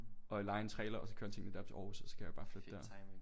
Og leje en trailer og så køre alle tingene op til Aarhus og kan jeg jo bare flytte dér